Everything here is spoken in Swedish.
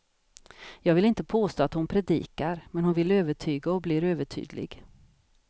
Jag vill inte påstå att hon predikar, men hon vill övertyga och blir övertydlig.